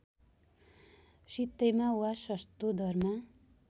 सित्तैमा वा सस्तो दरमा